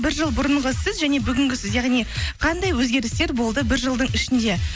бір жыл бұрынғы сіз және бүгінгі сіз яғни қандай өзгерістер болды бір жылдың ішінде